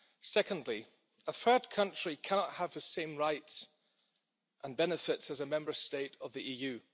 Secondly, a third country cannot have the same rights and benefits as a Member State of the EU.